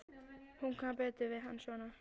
Hún kann betur við hann svona.